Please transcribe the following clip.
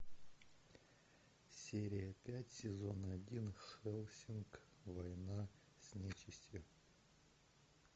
серия пять сезон один хеллсинг война с нечистью